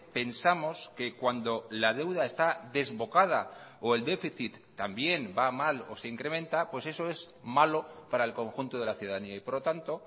pensamos que cuando la deuda está desbocada o el déficit también va mal o se incrementa pues eso es malo para el conjunto de la ciudadanía y por lo tanto